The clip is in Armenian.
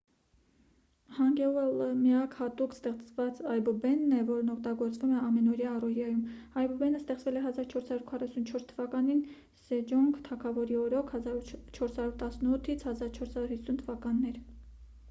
հանգեուլը միակ հատուկ ստեղծված այբուբենն է որն օգտագործվում է ամենօրյա առօրյայում։ այբուբենը ստեղծվել է 1444 թվականին սեջոնգ թագավորի օրոք 1418 - 1450 թվականներ։